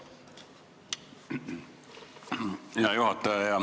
Hea juhataja!